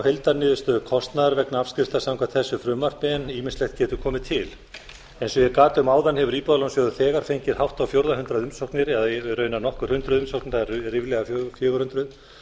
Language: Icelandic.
heildarniðurstöðu kostnaðar vegna afskrifta samkvæmt þessu frumvarpi en ýmislegt getur komið til eins og ég gat um áðan hefur íbúðalánasjóður þegar fengið hátt á fjórða hundrað umsóknir eða raunar nokkur hundruð umsóknir það eru ríflega fjögur hundruð